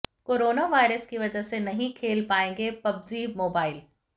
corona virus की वजह से नहीं खेल पाएंगे पबजी मोबाइल